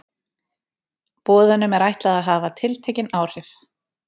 Boðunum er ætlað að hafa tiltekin áhrif.